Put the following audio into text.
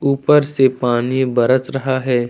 ऊपर से पानी बरस रहा है ।